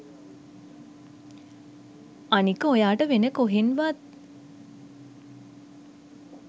අනික ඔයාට වෙන කොහෙන්වත්